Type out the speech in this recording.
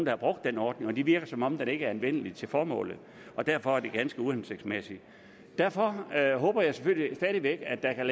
har brugt den ordning og det virker som om den ikke er anvendelig til formålet derfor er den ganske uhensigtsmæssig derfor håber jeg selvfølgelig stadig væk at der kan